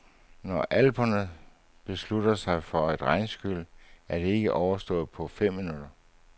Når alperne beslutter sig for et regnskyl, er det ikke overstået på fem minutter.